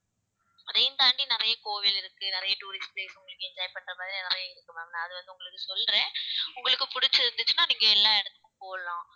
அதையும் தாண்டி நிறைய கோவில் இருக்கு நிறைய tourist place உங்களுக்கு enjoy பண்ற மாதிரி நிறைய இருக்கு ma'am நான் அதுவந்து உங்களுக்கு சொல்றேன் உங்களுக்கு பிடிச்சிருந்துச்சுன்னா நீங்க எல்லா இடத்துக்கும் போலாம்